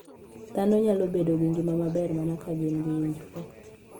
Dhano nyalo bedo gi ngima maber mana ka gin gi winjruok